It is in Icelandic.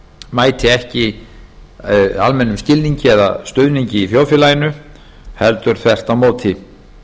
mæti ekki almennum skilningi eða stuðningi í þjóðfélaginu heldur þvert á móti